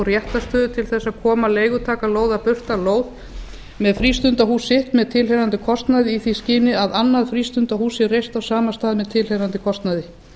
réttarstöðu til að koma leigutaka lóðar burt af lóð með frístundahúsi með tilheyrandi kostnaði í því skyni að annað frístundahús sé reist á sama stað með tilheyrandi kostnaði